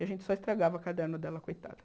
E a gente só estragava o caderno dela, coitada.